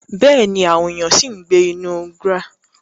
Bẹ́ẹ̀ni, àwọn èèyàn ṣì ń gbé inú GRA.